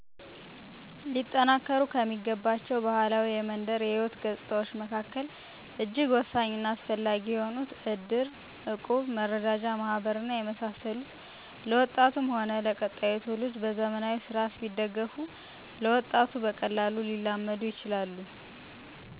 ሊጠናከሩ ከሚገባቸው ባህላዊ የመንደር ሕይወት ገጽታዎች መካከል እጅግ ወሳኝና አስፈላጊ የሆኑት ዕድር፣ ዕቁብ፣ መረዳጃ ማህበር እና የመሳሰሉት ለወጣቱም ሆነ ለቀጣዩ ትውልድ በዘመናዊ ስርዓት ቢደገፉ ለወጣቱ በቀላሉ ሊላመዱ ይችላሉ።